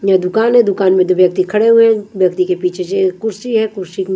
यह दुकान है दुकान में जो व्यक्ति खड़े हुए हैं व्यक्ति के पीछे से कुर्सी है कुर्सी को--